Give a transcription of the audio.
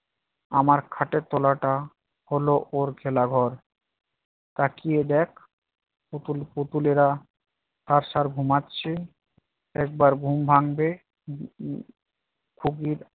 আমার খাটের তলাটা হলো ওর খেলাঘর। তাকিয়ে দেখ, পুতুল পুতুলেরা সারসার ঘুমাচ্ছে । একবার ঘুম ভাঙলে উম উম খুবই